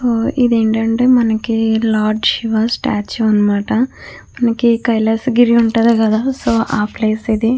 ఇదేంటంటే మనకి lord Shiva statue అన్నమాట. మనకి ఈ కైలాసగిరి ఉంటది కదా సో ఆ ప్లేస్ ఇది.